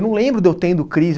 Eu não lembro de eu tendo crise.